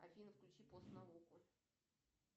афина включи постнауку